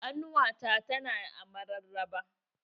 Ƙanuwata ta na a mararaba